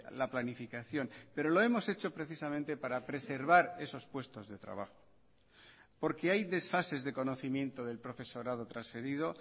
la planificación pero lo hemos hecho precisamente para preservar esos puestos de trabajo porque hay desfases de conocimiento del profesorado transferido